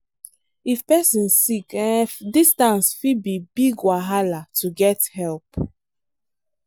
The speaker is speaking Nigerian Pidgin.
if person sick um distance fit be big wahala to get help.